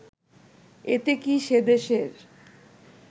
এতে কি সেদেশের